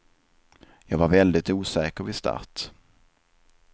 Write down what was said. Jag var väldigt osäker vid start.